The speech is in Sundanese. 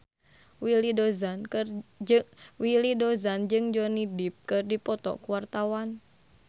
Willy Dozan jeung Johnny Depp keur dipoto ku wartawan